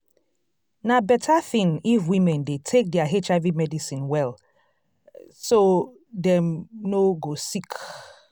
na better thing if women dey take their hiv medicine well so dem no go sick